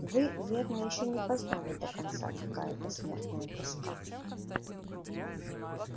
вы верно ещё не познали до конца какая это смертная тоска